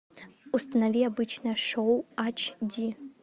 установи обычное шоу ач ди